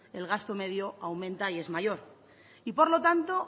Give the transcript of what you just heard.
el gasto medio aumenta y es mayor y por lo tanto